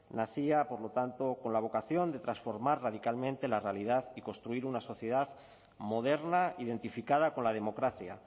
nacía por lo tanto con la vocación de transformar radicalmente la realidad y construir una sociedad moderna identificada con la democracia